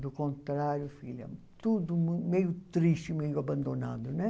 Do contrário, filha, tudo meio triste, meio abandonado, né?